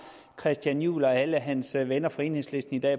christian juhl og alle hans venner fra enhedslisten i dag